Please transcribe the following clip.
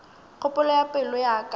kgopolo ya pelo ya ka